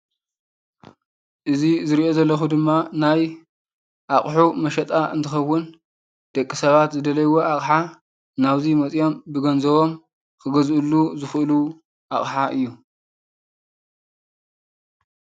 እዚ ዝሪኦ ዘለኩ ድማ ናይ ኣቑሑ መሸጣ እንትኸውን፣ ደቂ ሰባት ዝደለይዎ ኣቕሓ ናብ እዙይ መፅዮም ብገንዘቦም ክገዝእሉ ዝኽእሉ ኣቕሓ እዩ።